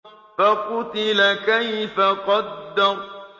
فَقُتِلَ كَيْفَ قَدَّرَ